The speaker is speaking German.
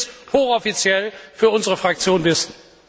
Das will ich jetzt hochoffiziell für unsere Fraktion wissen!